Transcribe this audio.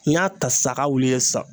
N y'a ta sisan a k'a wuli i ye sisan